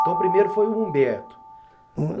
Então o primeiro foi o Humberto.